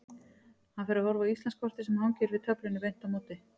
Hann fer að horfa á Íslandskortið sem hangir yfir töflunni beint á móti.